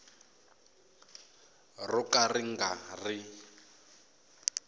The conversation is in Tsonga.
ro ka ri nga ri